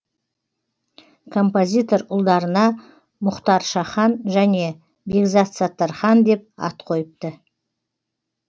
композитор ұлдарына мұхтаршахан және бекзатсаттархан деп ат қойыпты